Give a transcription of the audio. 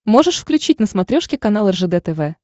можешь включить на смотрешке канал ржд тв